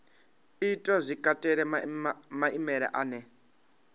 itwa zwi katela maimele ane